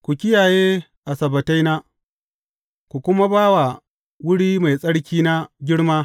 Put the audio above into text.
Ku kiyaye Asabbataina, ku kuma ba wa wuri mai tsarkina girma.